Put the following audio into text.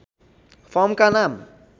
फर्मका नाम